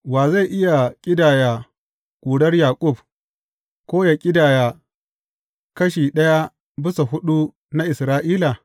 Wa zai iya ƙidaya ƙurar Yaƙub ko yă ƙidaya kashi ɗaya bisa huɗu na Isra’ila?